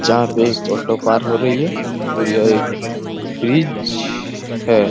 यहाँ से एक ऑटो पार हो रही हैं और यह एक ब्रिज हैं।